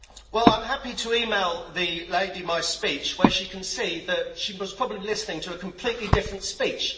Madam President, I am happy to e mail the lady my speech where she can see that she was probably listening to a completely different speech.